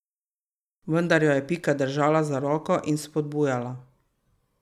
Vendar jo je Pika držala za roko in spodbujala.